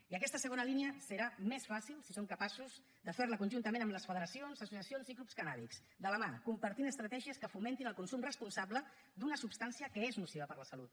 i aquesta segona línia serà més fàcil si som capaços de fer la conjuntament amb les federacions associacions i clubs cannàbics de la mà compartint estratègies que fomentin el consum responsable d’una substància que és nociva per a la salut